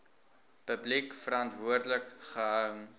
publiek verantwoordelik gehou